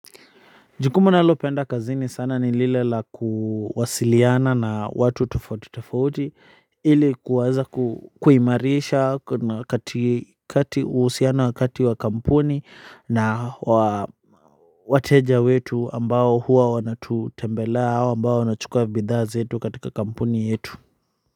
Jukumu nalopenda kazini sana ni lile la kuwasiliana na watu tofauti tofauti ili kuweza kuimarisha wa kati uhusiano wa kati wa kampuni na wateja wetu ambao huwa wanatutembelea au ambao wanachukua bidhaa zetu katika kampuni yetu.